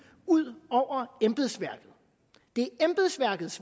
ud over embedsværket det er embedsværkets